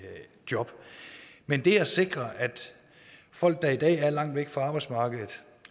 job men det at sikre at folk der i dag er langt væk fra arbejdsmarkedet